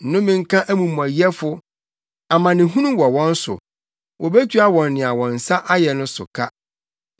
Nnome nka amumɔyɛfo! Amanehunu wɔ wɔn so! Wobetua wɔn nea wɔn nsa ayɛ no so ka.